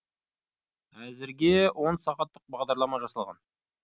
әзірге он сағаттық бағдарлама жасалған